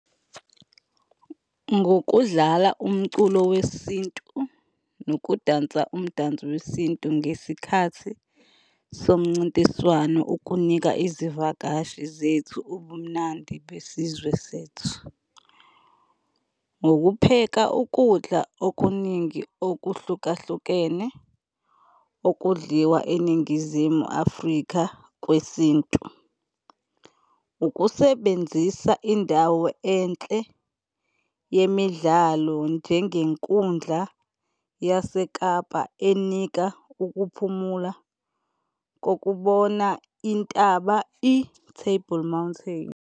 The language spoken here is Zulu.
Ngokudlala umculo wesintu nokudansa umdanso wesintu ngesikhathi somncintiswano ukunika izivakashi zethu ubumnandi besizwe sethu. Ngokupheka ukudla okuningi okuhlukahlukene okudliwa eNingizimu Afrika kwesintu. Ukusebenzisa indawo enhle yemidlalo njengenkundla yaseKapa enika ukuphumula kokubona intaba i-Table Mountain.